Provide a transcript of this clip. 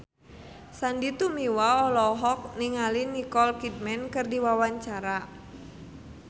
Sandy Tumiwa olohok ningali Nicole Kidman keur diwawancara